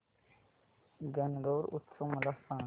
गणगौर उत्सव मला सांग